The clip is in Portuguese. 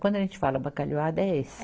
Quando a gente fala bacalhoada, é esse.